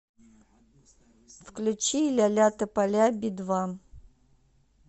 включи ля ля тополя би два